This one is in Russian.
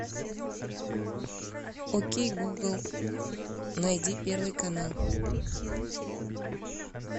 окей гугл найди первый канал